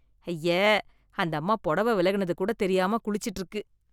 ஐயே, அந்தம்மா புடவை விலகுனது கூட தெரியாம குளிச்சிட்டு இருக்கு.